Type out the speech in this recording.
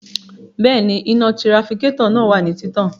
Bẹẹni, ina tirafikatọ naa wa ni titan